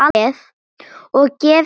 Og gefi þér frið.